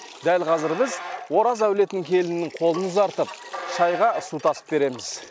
дәл қазір біз ораз әулетінің келінінің қолын ұзартып шайға су тасып береміз